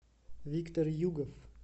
виктор югов